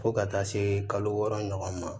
Fo ka taa se kalo wɔɔrɔ ɲɔgɔn ma